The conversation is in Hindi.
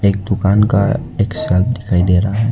एक दुकान का एक शेल्फ दिखाई दे रहा है।